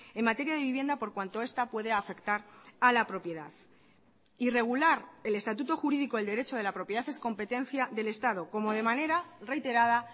en materia de vivienda por cuanto esta puede afectar a la propiedad y regular el estatuto jurídico del derecho de la propiedad es competencia del estado como de manera reiterada